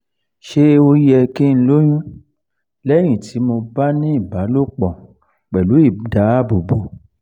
ṣé ó yẹ kí n lóyún lẹ́yìn tí mo bá ní ìbálòpọ̀ pelu idáàbòbo?